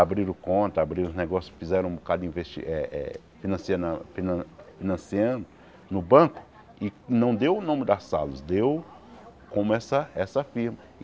Abriram conta, abriram uns negócio fizeram um bocado de investi eh eh financina fina financiando no banco e não deu o nome da sales, deu como essa essa firma.